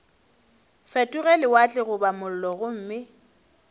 fetoge lewatle goba mollo gomme